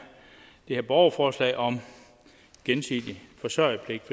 borgerforslag om gensidig forsørgerpligt